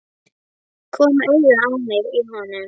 Kom auga á mig í honum.